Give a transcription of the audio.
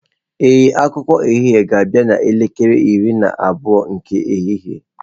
Ee, akụkọ ehihie ga-abịa n'elekere iri na abụọ nke ehihie.